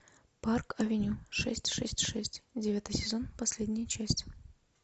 парк авеню шесть шесть шесть девятый сезон последняя часть